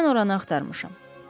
Mən oranı axtarmışam.